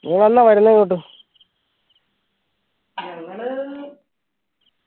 നീയെന്ന വരുന്നേ ഇങ്ങോട്ട്